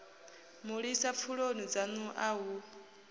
mulisa pfuloni dzanu a hu